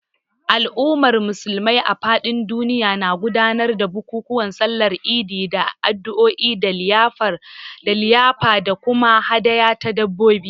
Al’ummar Musulmi a fadin duniya na gudanar da bukukuwan Sallar Idi da addu’o’i da liyafa da kuma hadaya ta dabbobi.